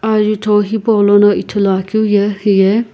ajutho hipaulono ithuluakeu ye hiye.